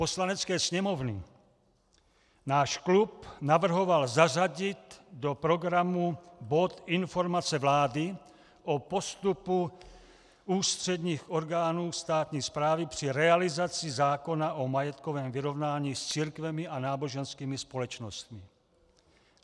Poslanecké sněmovny náš klub navrhoval zařadit do programu bod Informace vlády o postupu ústředních orgánů státní správy při realizaci zákona o majetkovém vyrovnání s církvemi a náboženskými společnostmi.